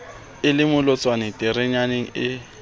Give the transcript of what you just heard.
e le molwantshi terameng ee